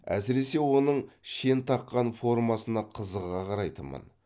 әсіресе оның шен таққан формасына қызыға қарайтынмын